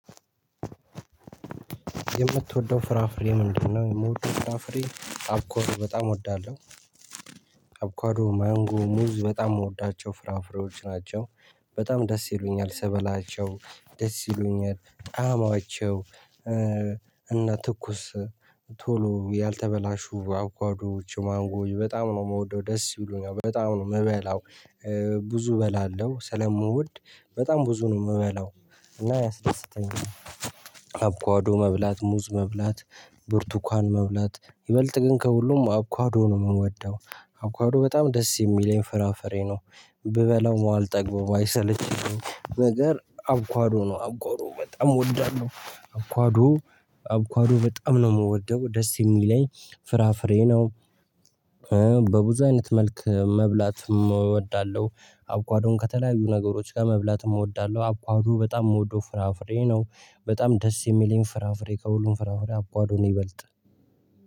የምትወደው ፍራፍሬ ምንድነው? የምወደው ፍራፍሬ አቦካዶ በጣም እወዳለሁ አቦካዶ ማንጎ ሙዝ በጣም የምወዳቸው ፍራፍሬዎች ናቸው። በጣም ደስ ይሉኛል ስበላቸው ደስ ይሉኛል ጣማቸው። እና ትኩስ ቶሎ ያልተበላሹ አቦካዴ ማንጎ በጣም ነው የምወደው ደስ ይሉኛል በጣም ነው የምበላው። ብዙ እበላለሁ ስለምወድ በጣም ብዙ ነው የምበላው እና ያስደሰተኛል። አቮካዶ መብላት ሙዝ መብላት ብርቱካን መብላት ይበልጥ ግን ከሁሉም አቮካዶ ነው የምወደው። አፉካዶ በጣም ደስ የሚለኝ ፍራፍሬ ነው። ብበላው ማልጠግበው ባይሰለችኝም ነገር አብኳዶ ነው አብኳዶ በጣም እወዳለሁ። አብኳዶ አቮካዶ በጣም ነው የምወደው ደስ የሚለኝ ፍራፍሬ ነው። በብዙ አይነት መልክ መብላት እወዳለሁ አቮካዶን ከተለያዩ ነገሮች ጋር መብላትም እወዳለሁ። አቮካዶ በጣም የምወደው ፍራፍሬ ነው። በጣም ደስ የሚለኝ ፍራፍሬ ከሁሉም ፍራፍሬ አቮካዶ ነው ይበልጥ